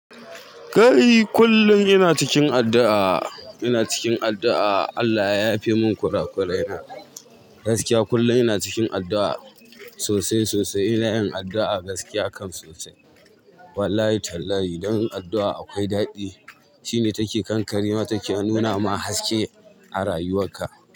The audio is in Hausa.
Kai kullun ina cikin addu'a, ina cikin addu'a Allah ya yafe mun ƙura kurai na gaskiya. Kullum ina cikin addu'a sosai sosai ina yin addu'a gaskiya kam sosai. Wallahi tallahi don yin adu'a akwai daɗi shine take kan karima take hannuna ama haske a rayuwar ka.